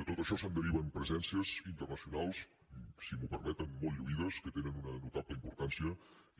de tot això se’n deriven presències internacionals si m’ho permeten molt lluïdes que tenen una notable importància